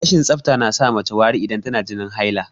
Rashin tsafta na sa mace yin wari idan tana jinin haila